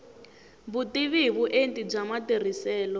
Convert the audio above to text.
vutivi hi vuenti bya matirhiselo